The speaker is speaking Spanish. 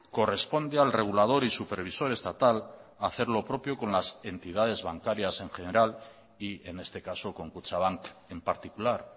corresponde al regulador y supervisor estatal hacer lo propio con las entidades bancarias en general y en este caso con kutxabank en particular